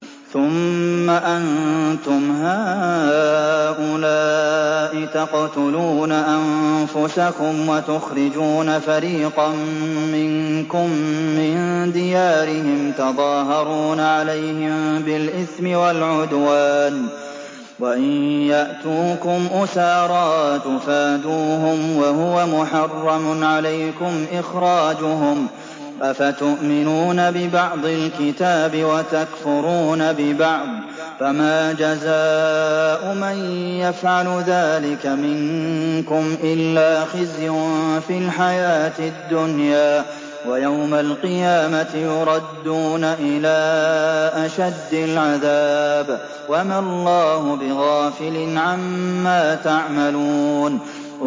ثُمَّ أَنتُمْ هَٰؤُلَاءِ تَقْتُلُونَ أَنفُسَكُمْ وَتُخْرِجُونَ فَرِيقًا مِّنكُم مِّن دِيَارِهِمْ تَظَاهَرُونَ عَلَيْهِم بِالْإِثْمِ وَالْعُدْوَانِ وَإِن يَأْتُوكُمْ أُسَارَىٰ تُفَادُوهُمْ وَهُوَ مُحَرَّمٌ عَلَيْكُمْ إِخْرَاجُهُمْ ۚ أَفَتُؤْمِنُونَ بِبَعْضِ الْكِتَابِ وَتَكْفُرُونَ بِبَعْضٍ ۚ فَمَا جَزَاءُ مَن يَفْعَلُ ذَٰلِكَ مِنكُمْ إِلَّا خِزْيٌ فِي الْحَيَاةِ الدُّنْيَا ۖ وَيَوْمَ الْقِيَامَةِ يُرَدُّونَ إِلَىٰ أَشَدِّ الْعَذَابِ ۗ وَمَا اللَّهُ بِغَافِلٍ عَمَّا تَعْمَلُونَ